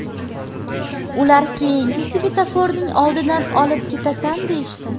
Ular keyingi svetoforning oldidan olib ketasan deyishdi.